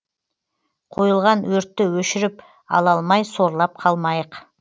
қойылған өртті өшіріп ала алмай сорлап қалмайық